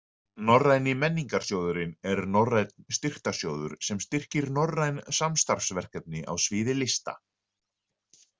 Norræni menningarsjóðurinn er norrænn styrktarsjóður sem styrkir norræn samstarfsverkefni á sviði lista.